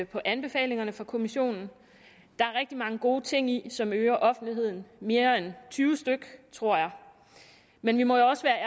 på anbefalingerne fra kommissionen der er rigtig mange gode ting i som øger offentligheden mere end tyve styk tror jeg men vi må også være